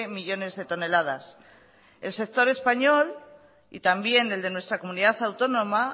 millónes de toneladas el sector español y también el de nuestra comunidad autónoma